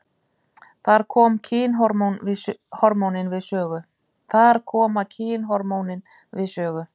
Þar koma kynhormónin við sögu.